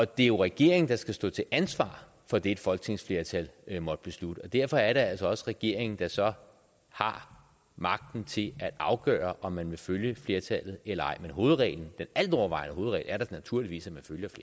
det er jo regeringen der skal stå til ansvar for det et folketingsflertal måtte beslutte og derfor er det altså også regeringen der så har magten til at afgøre om man vil følge flertallet eller ej men hovedreglen den altovervejende hovedregel er da naturligvis at